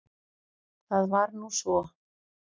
Það var nú svo.